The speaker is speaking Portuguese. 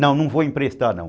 Não, não vou emprestar não.